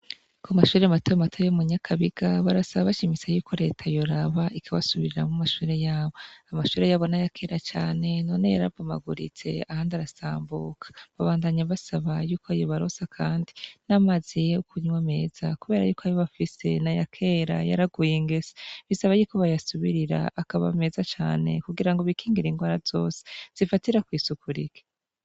Ku mashure mato mato yo mu nyakabiga, barasaba bashimitse yuko reta yoraba ikabasubiriramwo amashure yabo. Amashure yabo n'ayakera cane, none yarabomaguritse ahandi arasambuka. Babandanya basaba yuko yobaronsa kandi n'amazi yo kunywa meza kubera yuko ayo bafise n'ayakera yaraguye ingese. Bisaba yuko bayasubirira akaba meza cane kugira ngo bikingire ingwara zose zifatira kw'isuku rike.